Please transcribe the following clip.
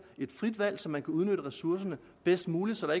et frit valg så man udnytte ressourcerne bedst muligt så der